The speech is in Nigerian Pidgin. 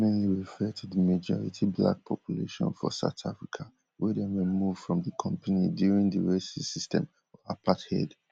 dis mainly refer to di majority black population for south africa wey dem remove from di company during di racist system of apartheid